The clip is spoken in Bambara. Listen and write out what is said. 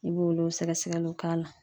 I b'olu sɛgɛsɛgɛliw k'a la .